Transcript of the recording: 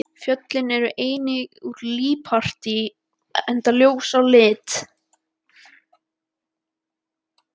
Fjöllin eru einnig úr líparíti enda ljós á lit.